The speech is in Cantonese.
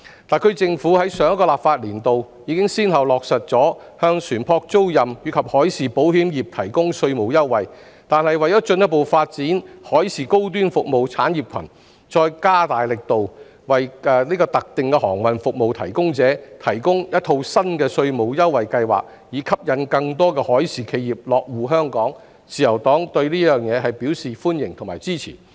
特區政府於上一個立法年度已先後落實向船舶租賃及海事保險業提供稅務優惠，但為進一步發展海事高端服務產業群，再加大力度，為特定的航運服務提供者，提供一套新的稅務優惠計劃，以吸引更多海事企業落戶香港，自由黨對此表示歡迎及支持。